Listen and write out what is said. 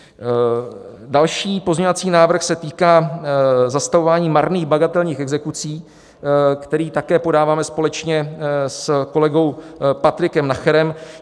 Další pozměňovací návrh se týká zastavování marných bagatelních exekucí, které také podáváme společně s kolegou Patrikem Nacherem.